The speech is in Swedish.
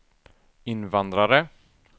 invandrare